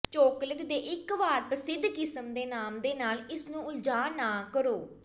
chocolate ਦੇ ਇੱਕ ਵਾਰ ਪ੍ਰਸਿੱਧ ਕਿਸਮ ਦੇ ਨਾਮ ਦੇ ਨਾਲ ਇਸ ਨੂੰ ਉਲਝਾ ਨਾ ਕਰੋ